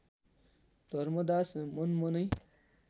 Dharmdas मनमनै